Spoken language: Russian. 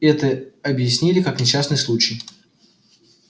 это объяснили как несчастный случай